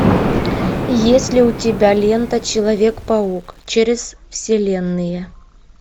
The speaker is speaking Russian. есть ли у тебя лента человек паук через вселенные